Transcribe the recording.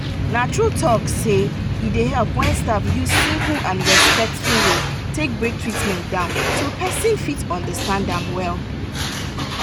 na true talk sey e dey help when staff use simple and respectful way take break treatment down so person fit understand am well.